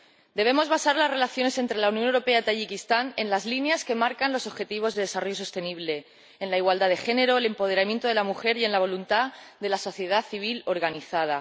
Debemos basar las relaciones entre la Unión Europea y Tayikistán en las líneas que marcan los objetivos de desarrollo sostenible en la igualdad de género, el empoderamiento de la mujer y en la voluntad de la sociedad civil organizada.